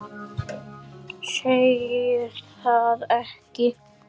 Segir það ekki?